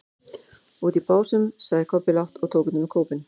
Úti í Básum, sagði Kobbi lágt og tók utan um kópinn.